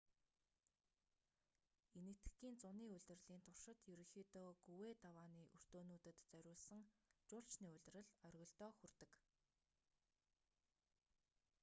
энэтхэгийн зуны улирлын туршид ерөнхийдөө гүвээ давааны өртөөнүүдэд зориулсан жуулчны улирал оргилдоо хүрдэг